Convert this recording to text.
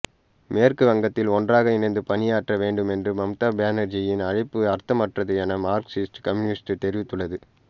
மேற்கு வங்கத்தில் ஒன்றாக இணைந்து பணியாற்ற வேண்டும் என்ற மம்தா பானர்ஜியின் அழைப்பு அர்த்தமற்றது என மார்க்சிஸ்ட் கம்யூனிஸ்டு தெரிவித்துள்ளது